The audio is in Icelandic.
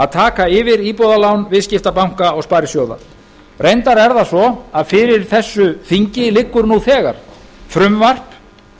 að taka yfir íbúðalán viðskiptabanka og sparisjóða reyndar er það svo að fyrir þessu þingi liggur nú þegar frumvarp